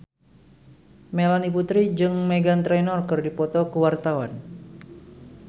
Melanie Putri jeung Meghan Trainor keur dipoto ku wartawan